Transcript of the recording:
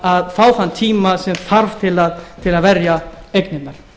að fá þann tíma sem þarf til að verja eignirnar